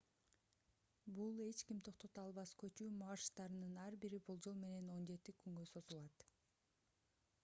бул эч ким токтото албас көчүү марштарынын ар бири болжол менен 17 күнгө созулат